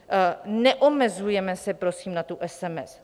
Neomezujeme se prosím na tu SMS.